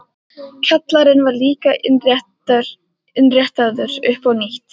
Kjallarinn var líka innréttaður upp á nýtt.